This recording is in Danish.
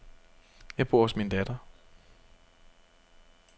Jeg bor hos min datter.